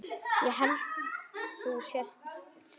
Ég held þú sért selur.